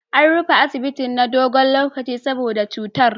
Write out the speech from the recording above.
An rufe asibitin na dogon lokaci saboda cutar.